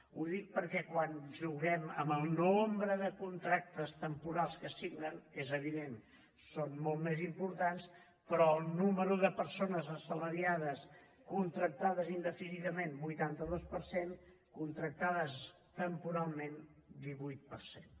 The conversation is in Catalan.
ho dic perquè quan juguem amb el nombre de contractes temporals que es signen és evident són molt més importants però el nombre de persones assalariades contractades indefinidament vuitanta dos per cent contractades temporalment divuit per cent